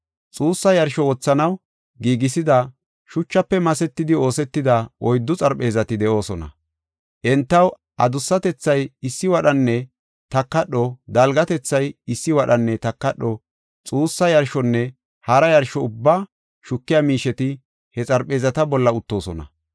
Xuussa yarsho wothanaw giigisida, shuchafe masetidi oosetida oyddu xarpheezati de7oosona. Entaw adusatethay issi wadhanne takadho; dalgatethay issi wadhanne takadho geesay issi wadhanne takadho. Xuussa yarshonne hara yarsho ubbaa shukiya miisheti he xarpheezata bolla uttoosona.